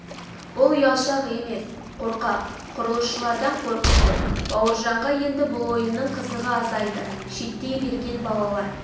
бұл ұялшақ емес қорқақ құрылысшылардан қорқып тұр бауыржанға енді бұл ойынның қызығы азайды шеттей берген балалар